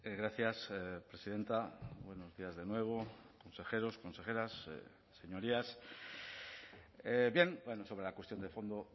gracias presidenta buenos días de nuevo consejeros consejeras señorías bien sobre la cuestión de fondo